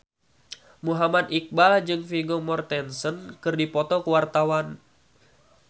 Muhammad Iqbal jeung Vigo Mortensen keur dipoto ku wartawan